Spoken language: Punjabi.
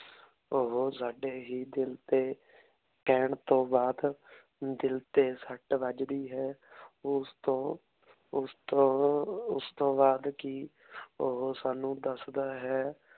ਓਹੋ ਸਾਡੇ ਹੀ ਦਿਲ ਤੇ ਕੇਹਨ ਤੋਂ ਬਾਅਦ ਦਿਲ ਤੇ ਸਟ ਵਜਦੀ ਹੈ ਓਸ ਤੋਂ ਓਸ ਤੋਂ ਉਸ ਤੋਂ ਬਾਅਦ ਕੀ ਓਹੋ ਸਾਨੂ ਦਸਦਾ ਹੈ